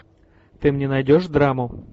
ты мне найдешь драму